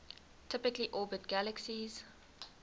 typically orbit galaxies